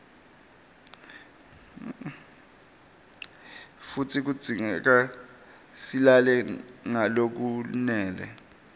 futsi kudzingeka silale ngalokwanele